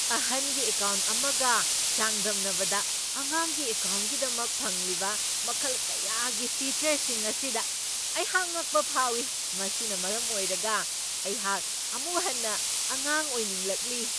ꯑꯍꯟꯒꯤ ꯑꯦꯀꯥꯎꯟ ꯑꯃꯒ ꯆꯥꯡꯗꯝꯅꯕꯗ ꯑꯉꯥꯡꯒꯤ ꯑꯦꯀꯥꯎꯟꯒꯤꯗꯃꯛ ꯐꯪꯂꯤꯕ ꯃꯈꯜ ꯀꯌꯥꯒꯤ ꯐꯤꯆꯔꯁꯤꯡ ꯑꯁꯤꯗ ꯑꯩꯍꯥꯛ ꯉꯛꯄ ꯐꯥꯎꯢ ꯫ ꯃꯁꯤꯅ ꯃꯔꯝ ꯑꯣꯏꯔꯒ ꯑꯩꯍꯥꯛ ꯑꯃꯨꯛ ꯍꯟꯅ ꯑꯉꯥꯡ ꯑꯣꯏꯅꯤꯡꯂꯛꯂꯤ ꯫